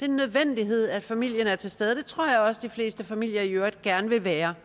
den nødvendighed at familien er til stede det tror jeg også de fleste familier gerne vil være